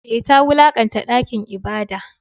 Eh, ta wulakanta dakin ibada.